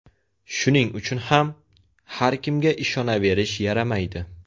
Shuning uchun ham, har kimga ishonaverish yaramaydi.